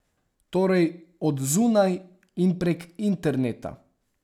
Torej od zunaj in prek interneta.